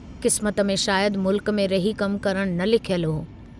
किस्मत में शायद मुल्क में रही कमु करणु न लिखियलु हो।